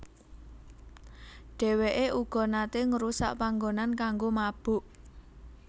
Dheweke uga nate ngrusak panggonan kanggo mabok